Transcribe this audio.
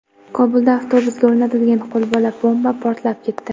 Kobulda avtobusga o‘rnatilgan qo‘lbola bomba portlab ketdi.